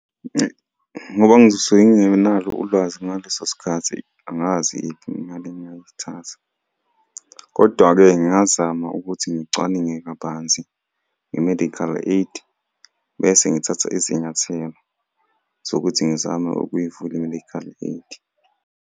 Ngoba ngizosuke ngingenalo ulwazi ngaleso sikhathi angazi imali engingayithatha, kodwa-ke ngingazama ukuthi ngicwaninge kabanzi nge-mediacal aid, bese ngithatha izinyathelo zokuthi ngizame ukuyivula i-medical aid.